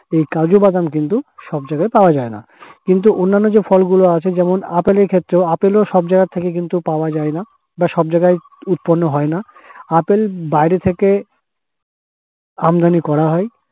এই কাজুবাদাম কিন্তু সব জায়গায় পাওয়া যায় না, কিন্তু অন্যান্য যে ফল গুলো আছে যেমন আপেল এর ক্ষেত্রে, আপেলও কিন্তু সব জায়গায় থেকে কিন্তু পাওয়া যায় না, বা সব জায়গায় উৎপন্ন হয় না। আপেল বাইরে থেকে আমদানি করা হয়।